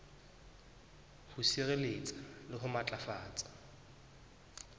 ho sireletsa le ho matlafatsa